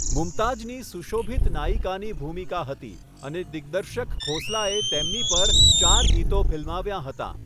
મુમતાઝની સુશોભિત નાયિકાની ભૂમિકા હતી અને દિગ્દર્શક ખોસલાએ તેમની પર ચાર ગીતો ફિલ્માવ્યાં હતાં.